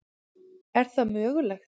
Er það mögulegt?